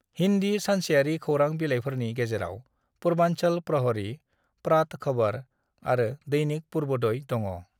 "हिन्दी सानसेयारि खौरां बिलाइफोरनि गेजेराव पूर्वांचल प्रहरी, प्रातः खबर आरो दैनिक पूर्वोदय दङ।"